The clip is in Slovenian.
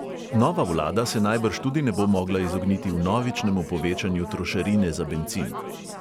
Nova vlada se najbrž tudi ne bo mogla izogniti vnovičnemu povečanju trošarine za bencin.